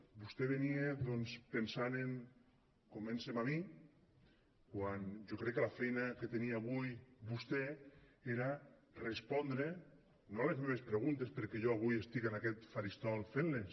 vostè venia pensant de convèncer me a mi quan jo crec que la feina que tenia avui vostè era respondre no a les meves preguntes perquè jo avui estic en aquest faristol fent les